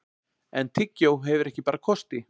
en tyggjó hefur ekki bara kosti